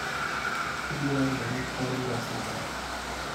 Ibiro yudo ni kor lwasi ber.